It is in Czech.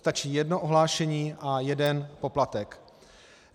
Stačí jedno ohlášení a jeden poplatek.